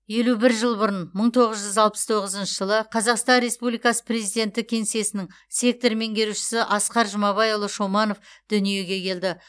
елу бір жыл бұрын мың тоғыз жүз алпыс тоғызыншы жылы қазақстан республикасы президенті кеңсесінің сектор меңгерушісі асқар жұмабайұлы шоманов дүниеге келді